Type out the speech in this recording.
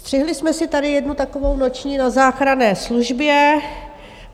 Střihli jsme si tady jednu takovou noční na záchranné službě.